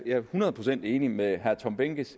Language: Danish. er hundrede procent enig med herre tom behnke